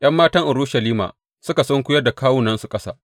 ’Yan matan Urushalima suka sunkuyar da kawunansu ƙasa.